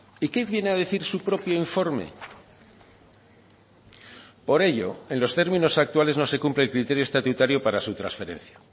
y qué viene a decir su propio informe por ello en los términos actuales no se cumple el criterio estatutario para su transferencia